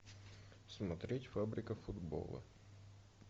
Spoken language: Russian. смотреть фабрика футбола